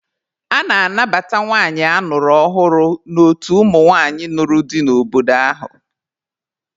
A na-anabata nwanyị a nụrụ ọhụrụ n'otu ụmụnwaanyị nụrụ di n'obodo ahụ.